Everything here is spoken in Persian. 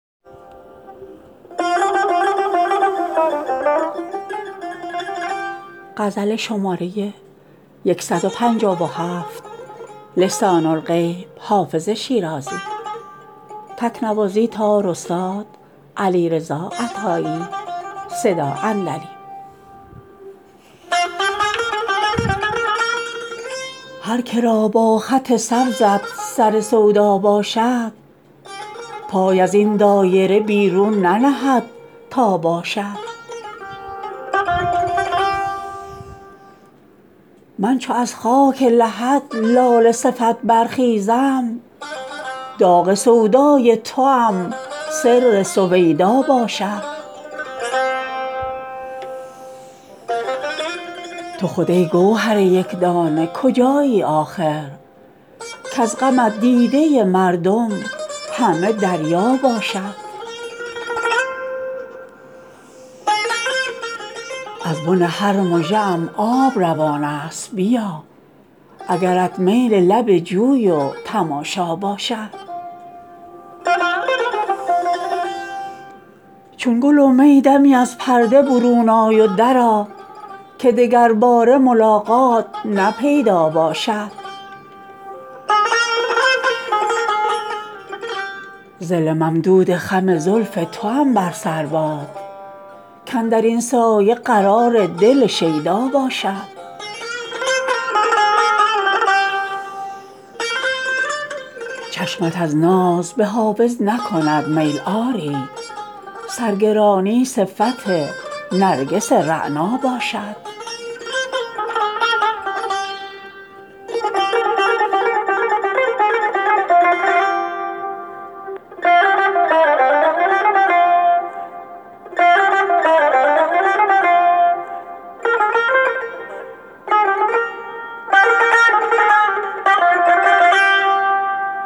هر که را با خط سبزت سر سودا باشد پای از این دایره بیرون ننهد تا باشد من چو از خاک لحد لاله صفت برخیزم داغ سودای توام سر سویدا باشد تو خود ای گوهر یک دانه کجایی آخر کز غمت دیده مردم همه دریا باشد از بن هر مژه ام آب روان است بیا اگرت میل لب جوی و تماشا باشد چون گل و می دمی از پرده برون آی و درآ که دگرباره ملاقات نه پیدا باشد ظل ممدود خم زلف توام بر سر باد کاندر این سایه قرار دل شیدا باشد چشمت از ناز به حافظ نکند میل آری سرگرانی صفت نرگس رعنا باشد